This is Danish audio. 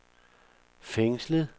fængslet